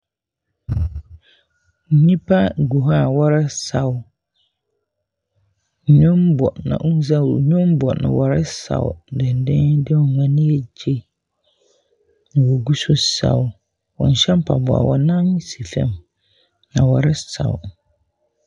Nnipa gu hɔ a wɔresaw, nnwom bɔ na onngya nnwom bɔ na wɔresaw saw dendenden na wɔn ani agye na wogu so resaw. Wɔnnhyɛ mpaboa, wɔn nan si fam na wɔresaw.